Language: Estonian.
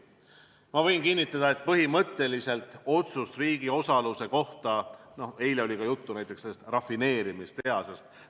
Ma võin kinnitada, rääkides otsusest riigi osaluse kohta, et eile oli juttu näiteks sellest rafineerimistehasest.